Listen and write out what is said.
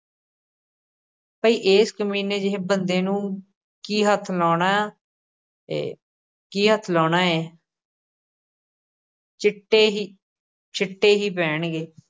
ਪਈ ਏਸ ਕਮੀਨੇ ਜਿਹੇ ਬੰਦੇ ਨੂੰ ਕੀ ਹੱਥ ਲਾਉਣਾ ਏ, ਕੀ ਹੱਥ ਲਾਉਣਾ ਏ ਚਿੱਟੇ ਹੀ ਛਿੱਟੇ ਹੀ ਪੈਣਗੇ।